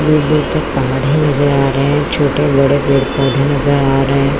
दूर दूर तक पहाड़ ही नजर आ रहे है छोटे-बड़े पेड़ पौधे नजर आ रहे है।